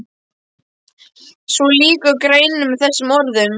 Svo lýkur greininni með þessum orðum